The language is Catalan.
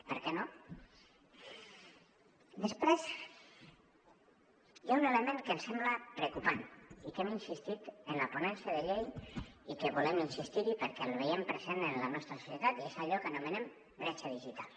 per què no després hi ha un element que ens sembla preocupant i que hem insistit en la ponència de llei i que volem insistir hi perquè el veiem present en la nostra societat i és allò que anomenem bretxa digital